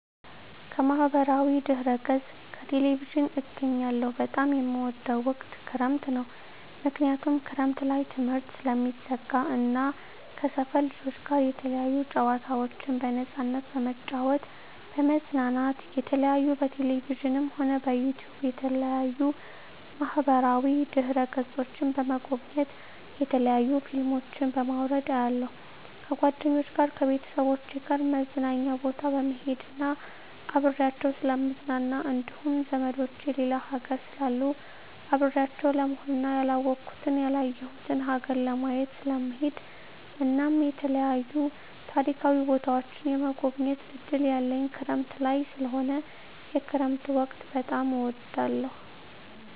ከማህበራዊ ድህረገፅ ከቴሌቪዥን አገኛለሁ በጣም የምወደዉ ወቅት ክረምት ነዉ ምክንያቱም ክረምት ላይ ትምህርት ስለሚዘጋ እና ከሰፈር ልጆች ጋር የተለያዩ ጨዋታዎችን በነፃነት በመጫወት በመዝናናት የተለያዩ በቴሌቪዥንም ሆነ በዩቱዩብ በተለያዩ ማህበራዋ ድህረ ገፆችን በመጎብኘት የተለያዩ ፊልሞችን በማዉረድ አያለሁ ከጓደኞቸ ጋር ከቤተሰቦቸ ጋር መዝናኛ ቦታ በመሄድና አብሬያቸዉ ስለምዝናና እንዲሁም ዘመዶቸ ሌላ ሀገር ስላሉ አብሬያቸው ለመሆንና ያላወኩትን ያላየሁትን ሀገር ለማየት ስለምሄድ እናም የተለያዩ ታሪካዊ ቦታዎችን የመጎብኘት እድል ያለኝ ክረምት ላይ ስለሆነ የክረምት ወቅት በጣም እወዳለሁ